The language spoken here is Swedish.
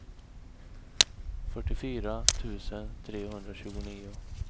fyrtiofyra tusen trehundratjugonio